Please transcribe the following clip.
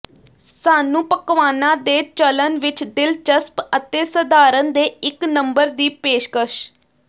ਸਾਨੂੰ ਪਕਵਾਨਾ ਦੇ ਚੱਲਣ ਵਿੱਚ ਦਿਲਚਸਪ ਅਤੇ ਸਧਾਰਨ ਦੇ ਇੱਕ ਨੰਬਰ ਦੀ ਪੇਸ਼ਕਸ਼